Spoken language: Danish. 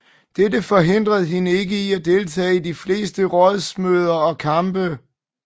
Dette forhindrede hende ikke i at deltage i de fleste rådsmøder og kampe